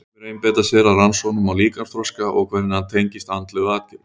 Sumir einbeita sér að rannsóknum á líkamsþroska og hvernig hann tengist andlegu atgervi.